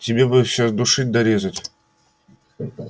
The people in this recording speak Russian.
тебе бы всё душить да резать